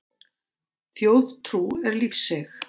Þjóðtrú er lífseig.